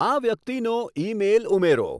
આ વ્યક્તિનો ઈમેઈલ ઉમેરો